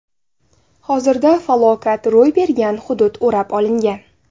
Hozirda falokat ro‘y bergan hudud o‘rab olingan.